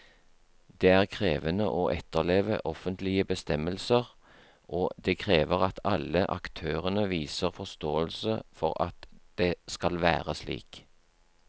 Det er krevende å etterleve offentlige bestemmelser, og det krever at alle aktørene viser forståelse for at det skal være slik.